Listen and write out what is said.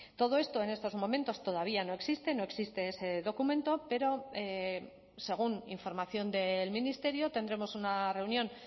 todo esto en estos momentos todavía no existe no existe ese documento pero según información del ministerio tendremos una reunión